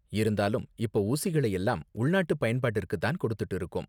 இருந்தாலும், இப்போ ஊசிகளை எல்லாம் உள்நாட்டு பயன்பாட்டிற்கு தான் கொடுத்துட்டு இருக்கோம்.